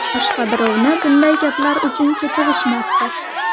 Boshqa birovni bunday gaplar uchun kechirishmasdi.